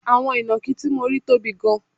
Àwọn inakí tí mo rí tóbi gan